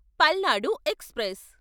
Palnadu express